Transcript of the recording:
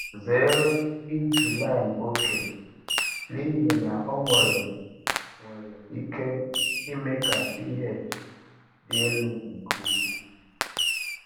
Zere iji lime oke n’ihi na ọ nwere nwere ike ime ka pH dị elu nke ukwuu.